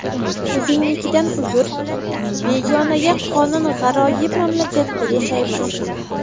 O‘zingnikidan uzr, begonaga qonun G‘aroyib mamlakatda yashaymiz.